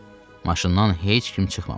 Maşından heç kim çıxmamışdı.